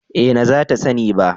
Eh na za ta sani ba